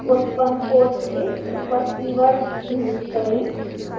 उत्पन्न code से super keyword delete करें